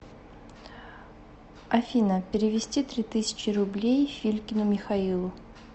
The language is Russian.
афина перевести три тысячи рублей филькину михаилу